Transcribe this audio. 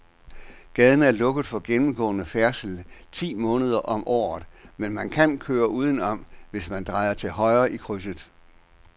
Gaden er lukket for gennemgående færdsel ti måneder om året, men man kan køre udenom, hvis man drejer til højre i krydset.